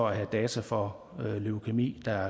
at have data for leukæmi der